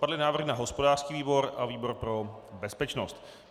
Padly návrhy na hospodářský výbor a výbor pro bezpečnost.